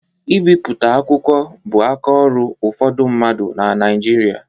Ibipụta akwụkwọ bu aka ọrụ ụfọdụ mmadụ na Naịjirịa.